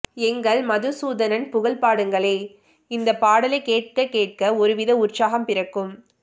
எங்கள் மதுசூதனன் புகழ் பாடுங்களே இந்த பாடலைக் கேட்க கேட்க ஒருவித உற்சாகம் பிறக்கும்